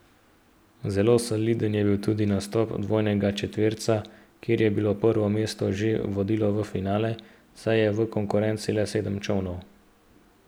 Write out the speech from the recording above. Zelo soliden je bil tudi nastop dvojnega četverca, kjer je prvo mesto že vodilo v finale, saj je v konkurenci le sedem čolnov.